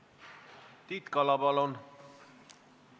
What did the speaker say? Tiit Kala, palun!